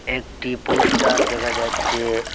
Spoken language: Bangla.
একটি পোস্টার দেখা যাচ্ছে।